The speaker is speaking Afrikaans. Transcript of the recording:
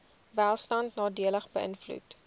welstand nadelig beïnvloed